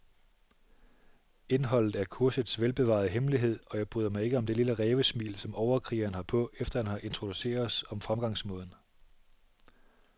Indholdet er kursets velbevarede hemmelighed, og jeg bryder mig ikke om det lille rævesmil, som overkrigeren har på, efter han har introduceret os om fremgangsmåden.